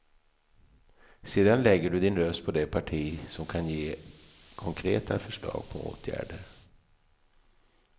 Sedan lägger du din röst på det parti som kan ge konkreta förslag på åtgärder.